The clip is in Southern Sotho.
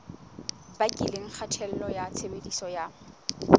bakileng kgatello ya tshebediso ya